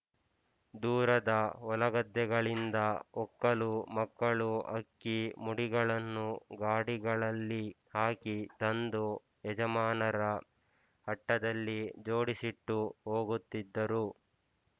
ದೂರದ ಹೊಲಗದ್ದೆಗಳಿಂದ ಒಕ್ಕಲು ಮಕ್ಕಳು ಅಕ್ಕಿ ಮುಡಿಗಳನ್ನು ಗಾಡಿಗಳಲ್ಲಿ ಹಾಕಿ ತಂದು ಯಜಮಾನರ ಅಟ್ಟದಲ್ಲಿ ಜೋಡಿಸಿಟ್ಟು ಹೋಗುತ್ತಿದ್ದರು